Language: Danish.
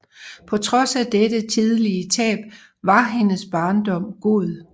På trods af dette tidlige tab var hendes barndom god